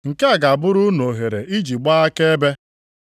Nke a ga-abụrụ unu ohere iji gbaa akaebe.